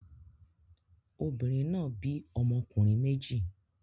Obìnrin náà bí ọmọkùnrin méjì.